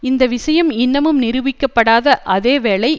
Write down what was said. இந்த விஷயம் இன்னமும் நிரூபிக்கப்படாத அதே வேளை